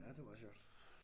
Ja det meget sjovt